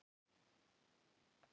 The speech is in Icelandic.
Mynd: Sveinbjörn Björnsson